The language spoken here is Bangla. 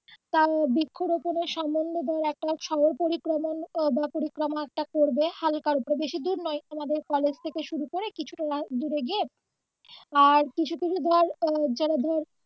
তা বৃক্ষ রোপনের সমন্বদয় একটা সড়ক পরিক্রমা বা পরিক্রমা একটা করবে হালকা উপর বেশি দূর নয় আমাদের কলেজ থেকে শুরু করে কিছুটা দূরে গিয়ে আর কিছু কিছু ধর যারা ধর